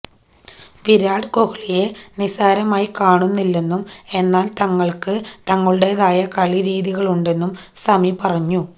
വിരാട് കൊഹ്ലിയെ നിസാരമായി കാണുന്നില്ലെന്നും എന്നാല് തങ്ങള്ക്ക് തങ്ങളുടേതായ കളി രീതികളുണ്ടെന്നും സമി പറഞ്ഞു